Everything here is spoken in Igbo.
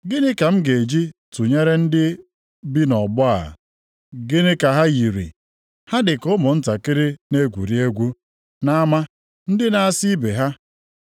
“Gịnị ka m ga-eji tụnyere ndị bi nʼọgbọ a? Gịnị ka ha yiri? Ha dị ka ụmụntakịrị na-egwuri egwu nʼama, ndị na-asị ibe ha,